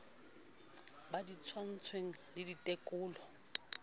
ba di tshwaetsweng le ditekolo